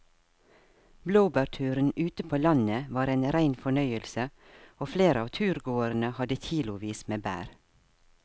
Blåbærturen ute på landet var en rein fornøyelse og flere av turgåerene hadde kilosvis med bær.